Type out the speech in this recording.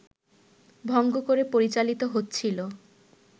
ভঙ্গ করে পরিচালিত হচ্ছিল